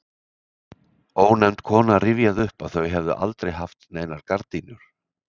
Ónefnd kona rifjaði upp að þau hefðu aldrei haft neinar gardínur.